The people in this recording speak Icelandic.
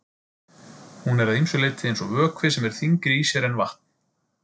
Hún er að ýmsu leyti eins og vökvi sem er þyngri í sér en vatn.